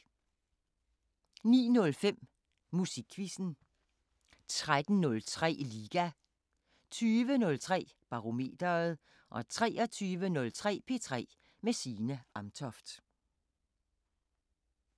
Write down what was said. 09:05: Musikquizzen 13:03: Liga 20:03: Barometeret 23:03: P3 med Signe Amtoft